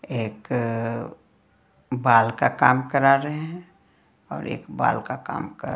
एक बाल का काम करा रहे हैं एक बाल का काम--